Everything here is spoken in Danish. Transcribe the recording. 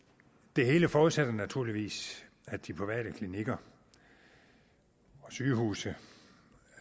det hele forudsætter naturligvis at de private klinikker og sygehuse